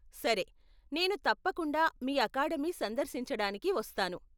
సరే, నేను తప్పకుండా మీ అకాడమీ సందర్శించడానికి వస్తాను.